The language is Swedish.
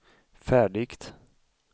färdigt